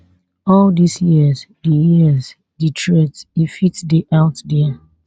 all dis years di years di threats e fit dey out dia